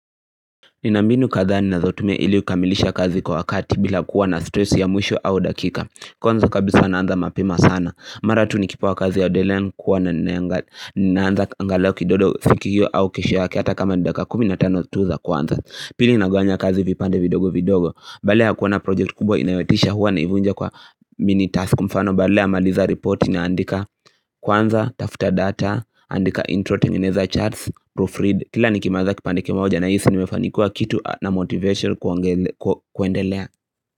Nina mbinu kadhaa ninazotumia ili kukamilisha kazi kwa wakati bila kuwa na stress ya mwisho au dakika. Kwanza kabisa naanza mapema sana mara tu nikipewa kazi ya deadline huwa naiangalia kidogo siku hiyo au kesho yake hata kama ni dakika kumi na tano tu za kwanza Pili nagawanya kazi vipande vidogo vidogo, badala ya kuwa na project kubwa inayotisha huwa naivunja kwa mini task mfano badala ya kumaliza ripoti naandika kwanza tafuta data andika intro tengeneza charts proofread kila nikimaliza kipandike kimoja nahisi nimefanikiwa kitu na motivation kuendelea.